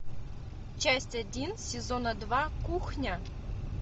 часть один сезона два кухня